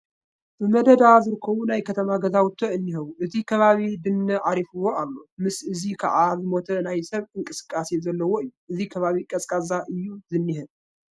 ብመደዳ ዝርከቡ ናይ ከተማ ገዛውቲ እኔው፡፡ እቲ ከባቢ ድነ ዓሪፍዎ ኣሎ፡፡ ምስዚ ከዓ ዝሞተ ናይ ሰብ እንቅስቃሲ ዘለዎ እዩ፡፡ እዚ ከባቢ ቀዝቃዛ እዩ ዝኒሀ፡፡